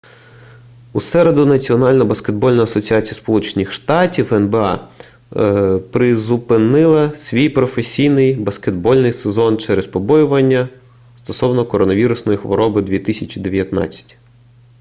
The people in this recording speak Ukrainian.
у середу національна баскетбольна асоціація сполучених штатів нба призупинила свій професійний баскетбольний сезон через побоювання стосовно коронавірусної хвороби 2019